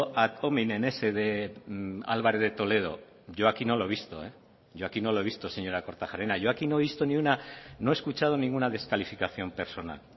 ad hominen ese de álvarez de toledo yo aquí no lo he visto señora kortajarena yo aquí no he escuchado ninguna descalificación personal